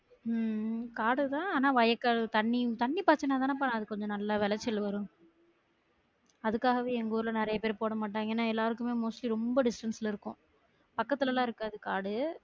உம் உம் காடுதா ஆனா வயக்காடு தண்ணி தண்ணி பாச்சாதானப்பா அதுக்கு கொஞ்சம் நல்லா விளைச்சல் வரும் அதுக்காகவே எங்க ஊருல நிறையா பேரு போட மாட்டாங்க ஏனா எல்லாருக்கும் mostly ரொம்ப distance ல இருக்கும் பக்கத்துலல்லாம் இருக்காது காடு